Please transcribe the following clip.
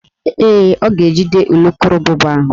Ee, ọ ga-ejide ulukurububa ahụ